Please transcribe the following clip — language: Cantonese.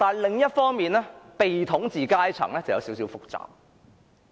另一方面，被統治階層則有點複雜。